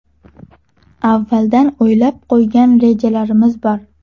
Avvaldan o‘ylab qo‘ygan rejalarimiz bor.